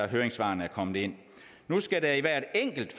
høringssvarene er kommet ind nu skal der i hvert enkelt